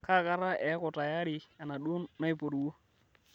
kaakata eeku tiaari enaduo naiporuo